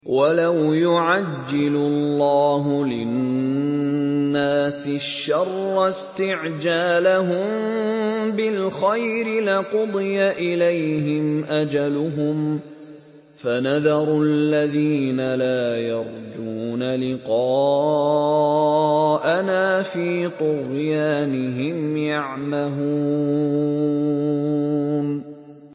۞ وَلَوْ يُعَجِّلُ اللَّهُ لِلنَّاسِ الشَّرَّ اسْتِعْجَالَهُم بِالْخَيْرِ لَقُضِيَ إِلَيْهِمْ أَجَلُهُمْ ۖ فَنَذَرُ الَّذِينَ لَا يَرْجُونَ لِقَاءَنَا فِي طُغْيَانِهِمْ يَعْمَهُونَ